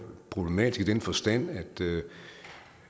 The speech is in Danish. problematiske i den forstand at